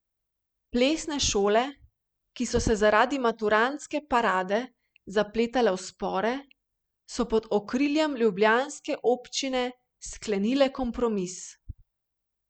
Plesne šole, ki so se zaradi Maturantske parade zapletale v spore, so pod okriljem ljubljanske občine sklenile kompromis.